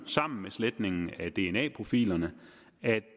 sammen med sletningen af dna profilerne